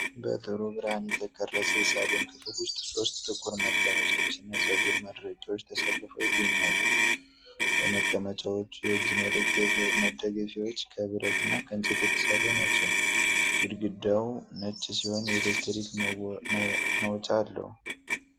በጥሩ ብርሃን የተቀረጸ የሳሎን ክፍል ውስጥ ሦስት ጥቁር መቀመጫዎች እና ፀጉር ማድረቂያዎች ተሰልፈው ይገኛሉ። የመቀመጫዎቹ የእጅ መደገፊያዎች ከብረት እና ከእንጨት የተሠሩ ናቸው። ግድግዳው ነጭ ሲሆን የኤሌክትሪክ መውጫ አለዉ።